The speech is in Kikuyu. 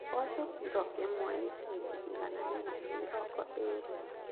Mboco kiro ĩmwe nĩ ciringi igana rĩmwe na mĩrongo eerĩ.